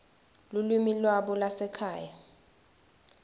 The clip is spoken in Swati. lulwimi lwabo lwasekhaya